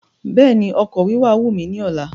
Béèni ọkọ̀ wíwà wù mí ní ọ̀la